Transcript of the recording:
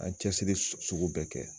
An ye cɛsiri sugu bɛɛ kɛ